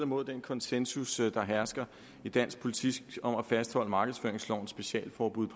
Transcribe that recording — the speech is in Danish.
mod den konsensus der hersker i dansk politik om at fastholde markedsføringslovens specialforbud